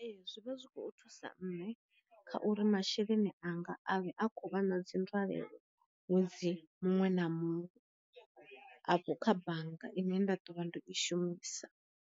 Ee zwivha zwikho thusa nne kha uri masheleni anga a vhe a khou vha na dzi nzwalelo ṅwedzi muṅwe na muṅwe afho kha bannga ine nda ḓo vha ndo i shumisa.